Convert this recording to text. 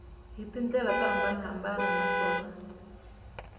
hi tindlela to hambanahambana naswona